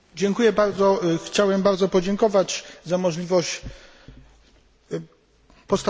Chciałem bardzo podziękować za możliwość postawienia pytania.